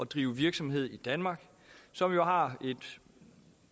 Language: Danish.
drive virksomhed i danmark som jo har en